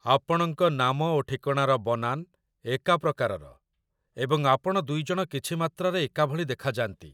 ଆପଣଙ୍କ ନାମ ଓ ଠିକଣାର ବନାନ ଏକା ପ୍ରକାରର, ଏବଂ ଆପଣ ଦୁଇଜଣ କିଛି ମାତ୍ରାରେ ଏକାଭଳି ଦେଖାଯାନ୍ତି